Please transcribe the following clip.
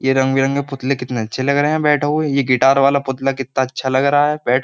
ये रंग बिरंगे पुतले कितने अच्छे लग रहे हैं बैठो हुए ये गिटार वाला पुतला कितना अच्छा लग रहा है बैठ --